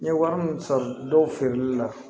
N ye wari min san dɔw feereli la